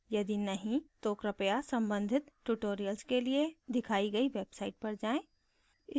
यदि नहीं तो कृपया संबंधित tutorials के लिए दिखाई गई website पर जाएँ